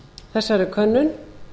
þessari könnun